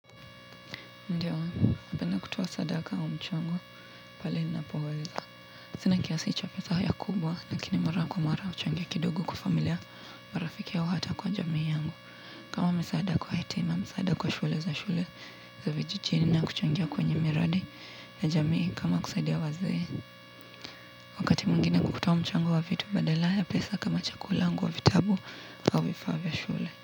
Ndio napenda kutoa sadaka au mchango pale nina poweza sina kiasi cha pesa ya kubwa lakini mara kwa mara huchangia kidogo kwa familia marafiki au hata kwa jamii yangu kama misaada kwa yatima misaada kwa shule za shule za vijijini na kuchangia kwenye miradi ya jamii kama kusaidia wazee wakati mwingine kutoa mchango wa vitu badala ya pesa kama chakula nguo vitabu au vifaa vya shule.